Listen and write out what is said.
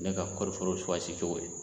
Ne ka kɔɔri foro cogo ye o ye.